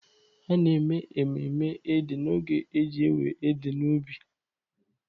A na-eme mmemme Ede n'oge eji ewe Ede n'ubi.